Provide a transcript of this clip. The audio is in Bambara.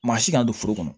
Maa si kana don foro kɔnɔ